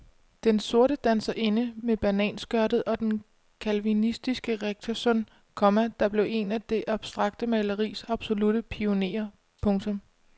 Den sorte danserinde med bananskørtet og den calvinistiske rektorsøn, komma der blev en af det abstrakte maleris absolutte pionerer. punktum